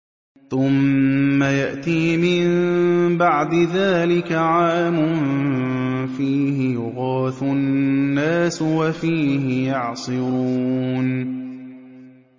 ثُمَّ يَأْتِي مِن بَعْدِ ذَٰلِكَ عَامٌ فِيهِ يُغَاثُ النَّاسُ وَفِيهِ يَعْصِرُونَ